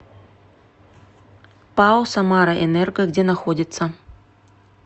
пао самараэнерго где находится